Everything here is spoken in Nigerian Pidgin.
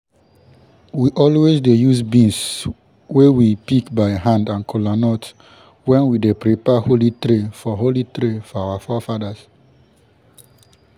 we always dey use beans wey we pick by hand and kolanut when we dey prepare holy tray for holy tray for our forefathers